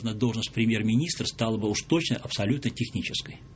но должность премьер-министра уж точно стала бы абсолютно технической